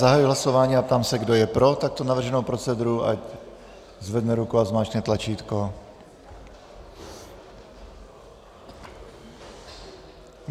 Zahajuji hlasování a ptám se, kdo je pro takto navrženou proceduru, ať zvedne ruku a zmáčkne tlačítko.